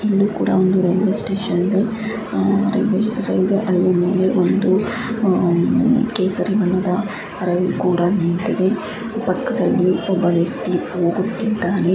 ಇಲ್ಲಿ ಕೂಡಾ ಒಂದು ರೈಲ್ವೆ ಸ್ಟೇಷನ್ ಇದೆ ಆಹ್ ರೈಲ್ಯ್ವೇ ರೈಲ್ವೆ ಹಳಿಯ ಮೇಲೆ ಒಂದು ಆಹ್ ಕೇಸರಿ ಬಣ್ಣದ ರೈಲ್ ಕೂಡ ನಿಂತಿದೆ ಪಕ್ಕದಲ್ಲಿ ಒಬ್ಬ ವ್ಯಕ್ತಿ ಹೋಗುತ್ತಿದ್ದಾನೆ .